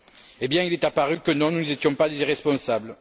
Eh bien, il est apparu que non, nous n'étions pas des irresponsables.